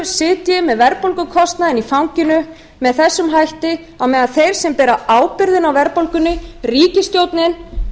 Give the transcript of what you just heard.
sitji með verðbólgukostnaðinn í fanginu með þessum hætti á meðan þeir sem bera ábyrgð á verðbólgunni ríkisstjórnin